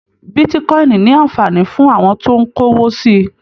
Bitíkọ̀in ní anfààní fún àwọn tó n k'owò si